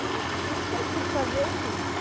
Aí os que eu pude fazer, eu fiz.